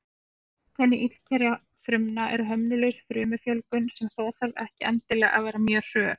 Einkenni illkynja frumna er hömlulaus frumufjölgun, sem þó þarf ekki endilega að vera mjög hröð.